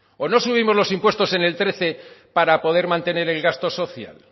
o no subimos los impuestos en el trece para poder mantener el gasto social